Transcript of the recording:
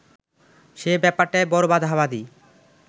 সে ব্যাপারটায় বড় বাঁধাবাঁধি